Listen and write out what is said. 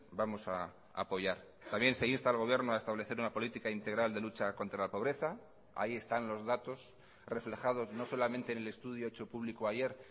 vamos a apoyar también se insta al gobierno a establecer una política integral de lucha contra la pobreza ahí están los datos reflejados no solamente en el estudio hecho público ayer